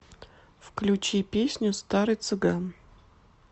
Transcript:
включи песню старый цыган